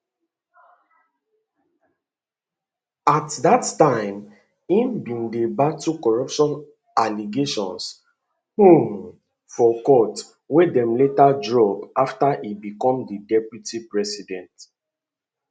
at dat time e bin dey battle corruption allegations um for court wey dem later drop after e become di deputy president